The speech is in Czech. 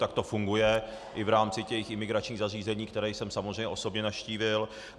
Tak to funguje i v rámci těch imigračních zařízení, které jsem samozřejmě osobně navštívil.